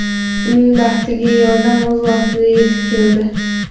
Uning baxtiga, yordam o‘z vaqtida yetib keldi.